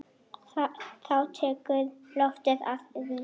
Þá tekur loftið að rísa.